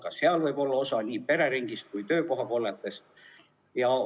Ka seal võib olla osa nii pereringis kui ka töökohakolletes nakatunud.